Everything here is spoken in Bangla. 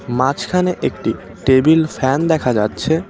মাঝখানে একটি টেবিল ফ্যান দেখা যাচ্ছে